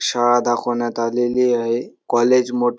शाळा दाखवण्यात आलेली आहे कॉलेज मोठे --